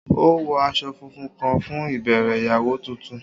O wọ aṣọ funfun kan fun ibẹrẹ iyawo tuntun.